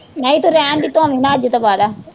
ਨਹੀਂ ਤੂੰ ਰਹਿਣ ਦੇ ਧੋਵੀ ਨਾ ਅੱਜ ਤੋਂ ਬਾਅਦਾ